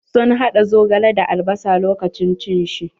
Sun haɗa zogale da albasa lokacin cin shi.